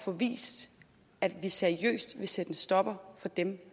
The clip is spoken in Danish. få vist at vi seriøst vil sætte en stopper for dem